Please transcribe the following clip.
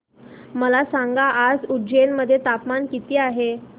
मला सांगा आज उज्जैन मध्ये तापमान किती आहे